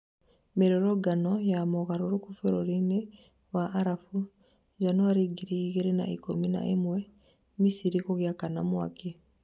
mĩrũrũngano ya mũgarũrũku bũrũri-inĩ wa arabũ njanuari ngiri igĩrĩ na ikũmi na imwe, Misiri gũgĩakana mwaki